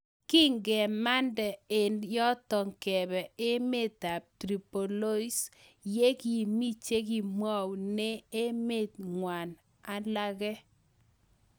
Kingemande eng yotok kebee emeet ab tiroplois yekimii chekimweunee emeet ng'waang alagee